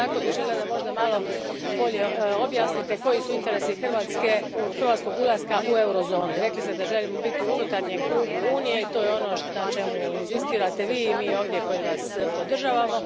Isto bih tako željela da možda malo bolje objasnite koji su interesi hrvatskog ulaska u eurozonu. Rekli ste da želimo biti u unutarnjem krugu Unije i to je ono na čemu inzistirate Vi i mi ovdje koji Vas podržavamo.